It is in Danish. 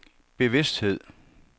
bevidsthed